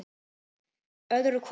Öðru hvoru er hrópað.